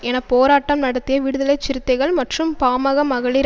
என போராட்டம் நடத்திய விடுதலைசிறுத்தைகள் மற்றும் பாமக மகளிர்